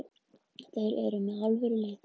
Þeir eru með alvöru lið.